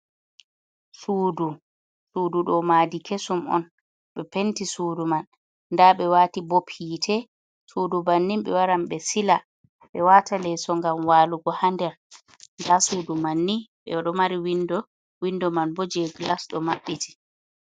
Suudu, suudu ɗo madi kesum un ɓe penti suudu man, nda ɓe wati bob hite, suudu bannin ɓe waran ɓe sila ɓe wata leeso ngam walugo ha nder, nda suudu manni ɓe ɗo mari windo, windo man bo je glas do maɓɓiti.